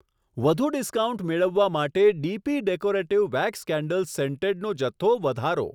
વધુ ડિસ્કાઉન્ટ મેળવવા માટે ડીપી ડેકોરેટીવ વેક્સ કેન્ડલ્સ સેન્ટેડનો જથ્થો વધારો.